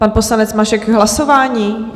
Pan poslanec Mašek k hlasování?